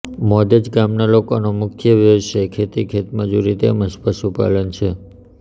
મોદજ ગામના લોકોનો મુખ્ય વ્યવસાય ખેતી ખેતમજૂરી તેમ જ પશુપાલન છે